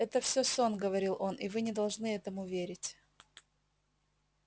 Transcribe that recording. это всё сон говорил он и вы не должны этому верить